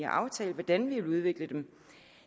har aftalt hvordan vi vil udvikle